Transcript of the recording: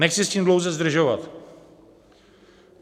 Nechci s tím dlouze zdržovat.